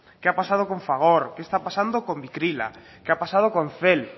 qué ha pasado con fagor qué está pasando con vicrila qué ha pasado con cel